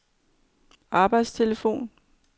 arbejdstelefon